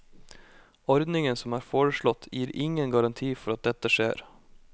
Ordningen som er foreslått, gir ingen garanti for at dette skjer.